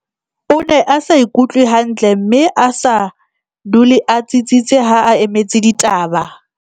o ne a sa ikutlwe hantle mme a sa dule a tsitsitse ha a emetse ditaba